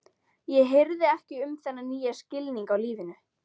Ég hirði ekki um þennan nýja skilning á lífinu.